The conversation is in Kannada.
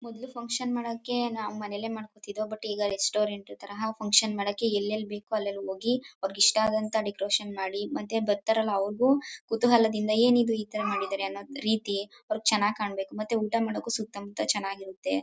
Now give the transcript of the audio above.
ಮೊದ್ಲು ಫನ್ಕ್ಷನ್ ಮಾಡಕ್ಕೆ ನಾವ್ ಮನೇಲೆ ಮಾಡ್ಕೋತಿದ್ದೋ ಬಟ್ ಈಗ ರೆಸ್ಟೋರೆಂಟ್ ತರಹ ಫನ್ಕ್ಷನ್ ಮಾಡಕ್ಕೆ ಎಲ್ ಎಲ್ ಬೇಕೋ ಅಲ್ ಅಲ್ ಹೋಗಿ ಅವರಿಗೆ ಇಷ್ಟ ಆದಂತ ಡೆಕೋರೇಷನ್ ಮಾಡಿ ಮತ್ತೆ ಬರ್ತಾರಲ್ಲ ಅವರಿಗೂ ಕುತೂಹಲದಿಂದ ಏನಿದು ಇತರ ಮಾಡಿದರೇ ಅನ್ನೋದ್ ರೀತಿ ಅವರಿಗ್ ಚನ್ನಾಗ್ ಕಾಣ್ಬೇಕು ಮತ್ತೆ ಊಟ ಮಾಡಕ್ಕೂ ಸುತ್ತ ಮುತ್ತ ಚೆನ್ನಾಗಿರತ್ತೆ.